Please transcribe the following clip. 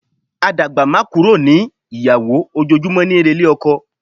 A dàgbá má kúrò ní ìyàwó, ojoojúmọ́ níí relé ọkọ.